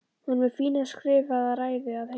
Hún er með fína skrifaða ræðu að heiman